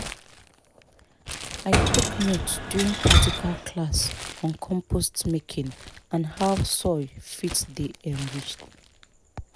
i take note during practical class on compost making and how soil fit dey enrich